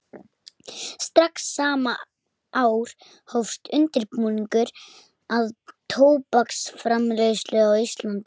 Strax sama ár hófst undirbúningur að tóbaksframleiðslu á Íslandi.